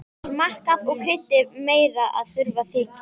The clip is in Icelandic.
Smakkað og kryddið meira ef þurfa þykir.